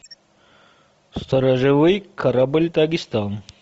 сторожевой корабль дагестан